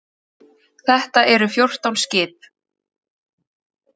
Þetta eru fjórtán skip.